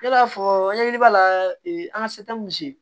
Yala fɔ ɲɛɲini b'a la an ka